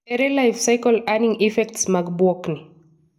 Ere life-cycle earning effects mag bwok ni?